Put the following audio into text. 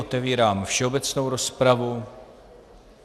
Otevírám všeobecnou rozpravu.